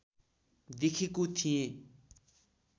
देखेको थिएँ